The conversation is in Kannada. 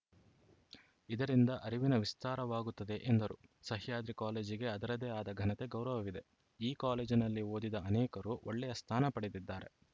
ಇದರಿಂದ ಅರಿವಿನ ವಿಸ್ತಾರವಾಗುತ್ತದೆ ಎಂದರು ಸಹ್ಯಾದ್ರಿ ಕಾಲೇಜಿಗೆ ಅದರದೇ ಆದ ಘನತೆ ಗೌರವವಿದೆ ಈ ಕಾಲೇಜಿನಲ್ಲಿ ಓದಿದ ಅನೇಕರು ಒಳ್ಳೆಯ ಸ್ಥಾನ ಪಡೆದಿದ್ದಾರೆ